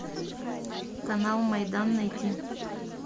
канал майдан найти